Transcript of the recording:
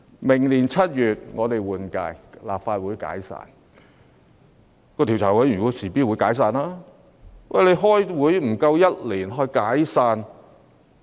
明年7月換屆，立法會便會解散，專責委員會亦會隨之解散。